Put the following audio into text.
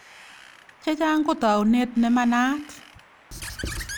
Chechang ko taunet ne manaat.